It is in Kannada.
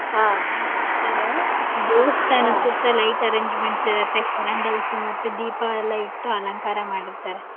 ಹ ಮಾಡ್ತಾರೆ ದೇವಸ್ತಾನ ಸುತ್ತ light arrangements ಇರುತ್ತೆ ಮತ್ತೆ candles ಮತ್ತೆ ದೀಪ ಎಲ್ಲ ಇಟ್ಟು ಅಲಂಕಾರ ಮಾಡಿರ್ತಾರೆ.